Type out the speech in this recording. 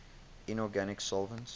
inorganic solvents